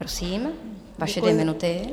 Prosím, vaše dvě minuty.